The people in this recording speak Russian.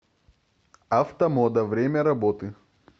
автомода время работы